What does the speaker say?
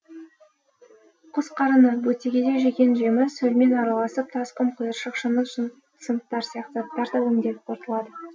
құс қарыны бөтегеде жеген жемі сөлмен араласып тас құм қиыршық шыны сынықтары сияқты заттар да өңделіп қорытылады